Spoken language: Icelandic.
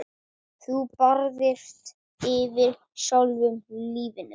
Þú barðist fyrir sjálfu lífinu.